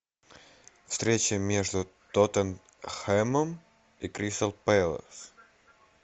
встреча между тоттенхэмом и кристал пэлас